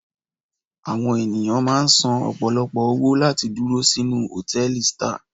Àwọn ènìyàn máà ń san ọ̀pọ̀lọpọ̀ owó láti dúró sínú hòtẹ́ẹ̀lì star.